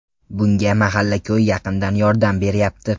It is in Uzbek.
Bunga mahalla-ko‘y yaqindan yordam beryapti.